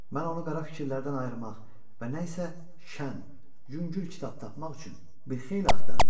Mən onu qara fikirlərdən ayırmaq və nə isə şən, yüngül kitab tapmaq üçün bir xeyli axtardım.